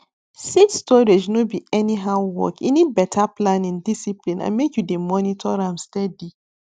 seed storage no be anyhow work e need better planning discipline and make you dey monitor am steady